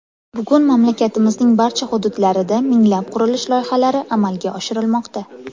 Bugun mamlakatimizning barcha hududlarida minglab qurilish loyihalari amalga oshirilmoqda.